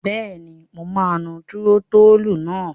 Bẹ́ẹ̀ni, mo máa nu túrótóòlù náà.